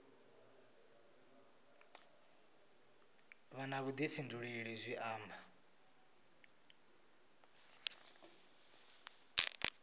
vha na vhuḓifhinduleli zwi amba